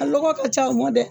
A lɔgɔ ka ca o ma dɛ